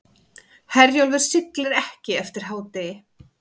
Herjólfur siglir ekki eftir hádegi